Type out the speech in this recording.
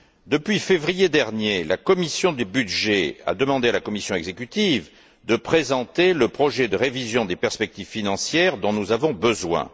Depuis février dernier, la commission des budgets a demandé à la commission exécutive de présenter le projet de révision des perspectives financières dont nous avons besoin.